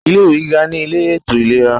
Ilé ìwé gíga ní ilé ètò ìlera.